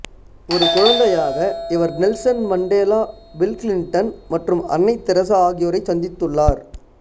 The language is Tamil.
ஒரு குழந்தையாக இவர் நெல்சன் மண்டேலா பில் கிளிண்டன் மற்றும் அன்னை தெரசா ஆகியோரைச் சந்தித்துள்ளார்